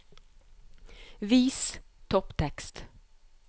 Vis topptekst